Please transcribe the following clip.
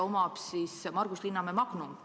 Omajaks on Margus Linnamäe Magnum.